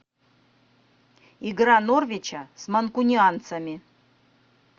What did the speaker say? игра норвича с манкунианцами